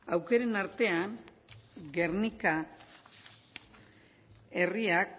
aukeren artean gernika herriak